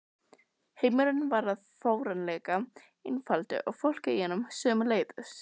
Heimurinn varð fáránlega einfaldur og fólkið í honum sömuleiðis.